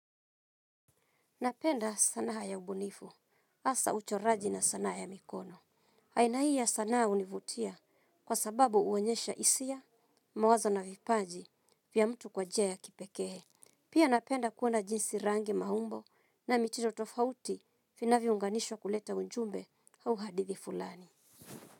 Napenda sanaa ya ubunifu, hasa uchoraji na sanaa ya mikono. Aina hii ya sanaa hunivutia kwa sababu huonyesha hisia, mawazo na vipaji vya mtu kwa njia ya kipekee. Pia napenda kuona jinsi rangi maumbo na michoro tofauti vinavyounganishwa kuleta ujumbe au hadithi fulani.